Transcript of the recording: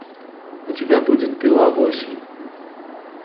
у тебя будет пила восемь